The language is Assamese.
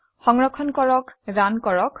সংৰক্ষণ কৰে ৰান কৰক